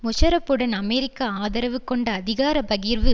முஷாரஃப்புடன் அமெரிக்க ஆதரவு கொண்ட அதிகார பகிர்வு